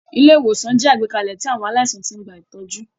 Ilé-ìwòsàn jẹ́ àgbékalẹ̀ tí àwọn aláìsàn ti ń gba ìtọ́jú.